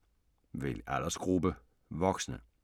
Vælg aldersgruppe: voksne